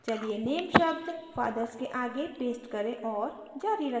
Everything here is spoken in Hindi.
चलिए name शब्द fathers के आगे paste करें और जारी रखें